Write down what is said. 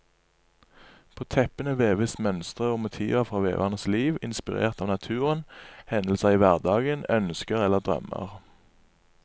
På teppene veves mønstre og motiver fra veverens liv, inspirert av naturen, hendelser i hverdagen, ønsker eller drømmer.